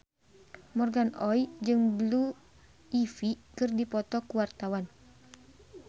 Morgan Oey jeung Blue Ivy keur dipoto ku wartawan